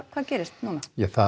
hvað gerist næst ja það